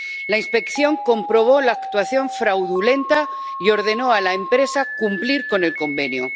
La inspección comprobó la actuación fraudulenta y ordenó a la empresa cumplir con el convenio.